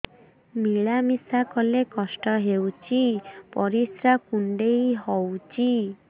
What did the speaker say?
ମିଳା ମିଶା କଲେ କଷ୍ଟ ହେଉଚି ପରିସ୍ରା କୁଣ୍ଡେଇ ହଉଚି